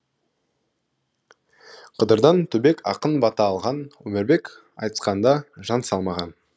қыдырдан түбек ақын бата алған өмірбек айтысқанда жан салмаған